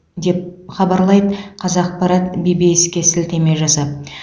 деп хабарлайды қазақпарат ввс ге сілтеме жасап